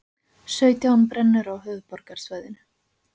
Sautján brennur á höfuðborgarsvæðinu